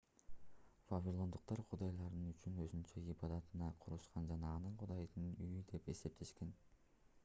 вавилондуктар кудайлары үчүн өзүнчө ибадаткана курушкан жана аны кудайдын үйү деп эсептешкен